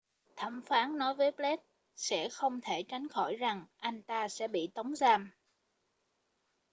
thẩm phán nói với blake sẽ không thể tránh khỏi rằng anh ta sẽ bị tống giam